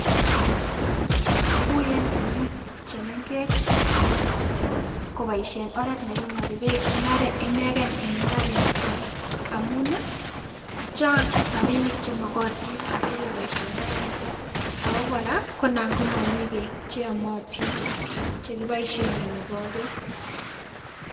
Ui en temik chemengech koboishen oret nekinoiki beek en imbarenik kwak amun nii chang rabinik chemokotin asikeboishen oraniton ako koraa anan ko momii beek cheyomotin chekiboishen kinoko beek.